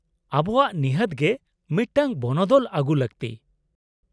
-ᱟᱵᱚᱣᱟᱜ ᱱᱤᱦᱟᱹᱛ ᱜᱮ ᱢᱤᱫᱴᱟᱝ ᱵᱚᱱᱚᱫᱚᱞ ᱟᱜᱩ ᱞᱟᱹᱠᱛᱤ ᱾